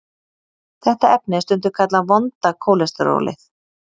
Þetta efni er stundum kallað vonda kólesterólið.